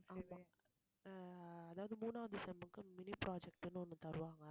ஆமா ஆஹ் அதாவது மூணாவது sem க்கு mini project ன்னு ஒண்ணு தருவாங்க